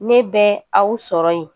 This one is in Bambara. Ne bɛ aw sɔrɔ yen